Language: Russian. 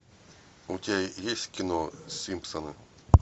у тебя есть кино симпсоны